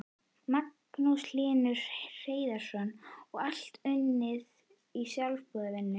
Magnús Hlynur Hreiðarsson: Og allt unnið í sjálfboðavinnu?